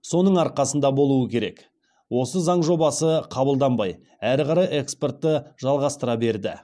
соның арқасында болу керек осы заң жобасы қабылданбай әрі қарай экспортты жалғастыра берді